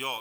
Jo.